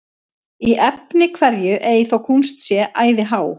Í efni hverju ei þó kúnst sé æði há,